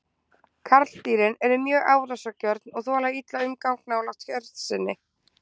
Karldýrin eru mjög árásargjörn og þola illa umgang nálægt hjörð sinni.